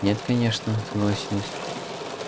нет конечно согласилась